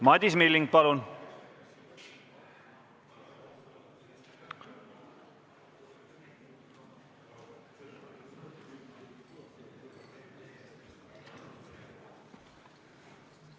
Madis Milling, palun!